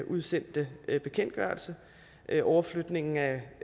udsendte bekendtgørelse overflytningen af